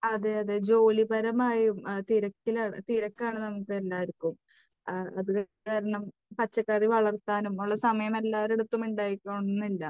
അതെയതെ. ജോലിപരമായും തിരക്കിലാണ്, തിരക്കാണ് നമുക്കെല്ലാവർക്കും. അതുകാരണം പച്ചക്കറികൾ വളർത്താനും ഉള്ള സമയം എല്ലാവരുടെ അടുത്തും ഉണ്ടായിക്കൊള്ളണമെന്നില്ല.